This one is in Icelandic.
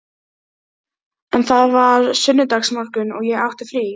En það var sunnudagsmorgunn og ég átti frí.